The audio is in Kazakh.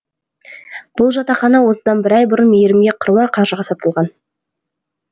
бұл жатақхана осыдан бір ай бұрын мейірімге қыруар қаржыға сатылған